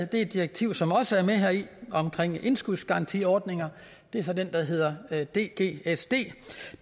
det direktiv som også er med her om indskudsgarantiordninger det er så det der hedder hedder dgsd